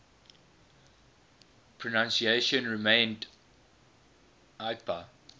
pronunciation remained ipa